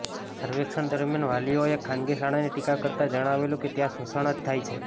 સર્વેક્ષણ દરમિયાન વાલીઓએ ખાનગી શાળાની ટીકા કરતાં જણાવેલું કે ત્યાં શોષણ જ થાય છે